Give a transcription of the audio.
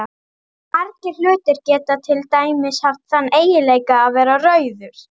Margir hlutir geta til dæmis haft þann eiginleika að vera rauður.